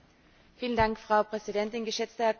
Frau Präsidentin, geschätzter Herr Kommissar!